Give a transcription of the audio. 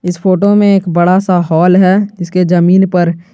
इस फोटो में एक बड़ा सा हॉल है इसके जमीन पर--